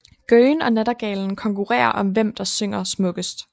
Gøgen og nattergalen konkurrerer om hvem der synger smukkest